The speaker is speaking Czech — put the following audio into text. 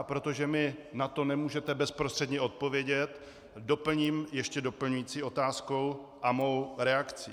A protože mi na to nemůžete bezprostředně odpovědět, doplním ještě doplňující otázkou a svou reakcí.